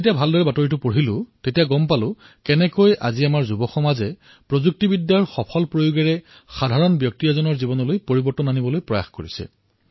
যেতিয়া বাতৰিটোৰ ভিতৰ অংশ পঢ়িলো তেতিয়া গম পালো যে আমাৰ তৰুণ প্ৰজন্মই প্ৰযুক্তিৰ স্মাৰ্ট আৰু সৃজনীশীল ব্যৱহাৰ কৰি সাধাৰণ জনতাৰ জীৱনলৈ পৰিৱৰ্তন অনাৰ প্ৰয়াস কৰিছে